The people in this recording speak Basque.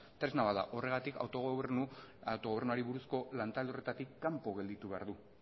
tresna bat da horregatik autogobernuari buruzko lantalde horretatik kanpo gelditu behar du